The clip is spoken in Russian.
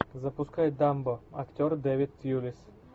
запускай дамбо актер дэвид тьюлис